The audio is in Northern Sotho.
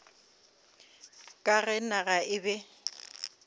ka ge naga e be